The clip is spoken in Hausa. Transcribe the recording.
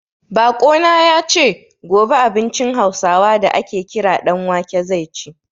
Baƙo na ya ce, gobe abincin Hausawa da a ke kira ɗan wake zai ci.